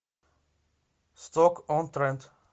сток он тренд